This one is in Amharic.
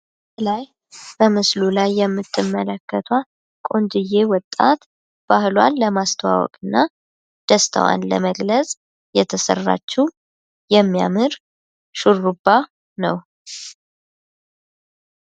ከላይ በምስሉ ላይ የምትመለከቷት ቆንጅዬ ወጣት ባህሏን ለማስተዋወቅ እና ደስታዋን ለመግለፅ የተሰራችው የሚያምር ሹርባ ነው ።